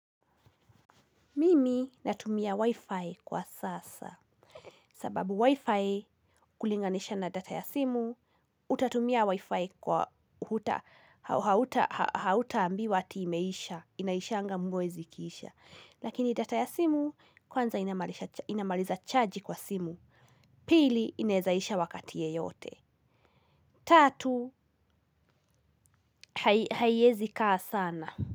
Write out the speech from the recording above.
Mimi natumia wifi kwa sasa, sababu wifi kulinganisha na data ya simu, utatumia wifi kwa huta, hauta ambiwa ati imeisha, inaishanga mwezi ikiisha. Lakini data ya simu, kwanza inamaliza charge kwa simu, pili inawezaisha wakati yeyote. Tatu, haiezi kaa sana.